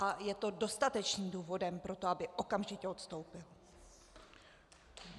A je to dostatečným důvodem pro to, aby okamžitě odstoupil.